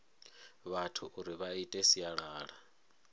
vhathu uri vha ite sialala